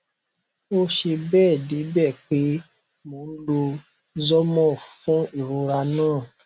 ó ṣe bẹẹ debẹ pé mo n lo zormorph fún irora naa